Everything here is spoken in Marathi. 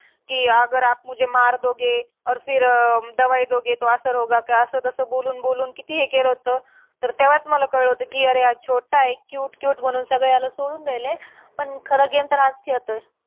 कि आगर आप मुझे मार दोगे और फिर अं दवाई दोगे तो असर होगा क्या. असं तसं बोलून बोलून किती हे केलं होतं. तर तेव्हाच मला कळलं होतं, कि अरे हा छोटा आहे cute cute म्हणून सगळे याला सोडून द्यायले. पण खरं game तर हाच खेळतोय.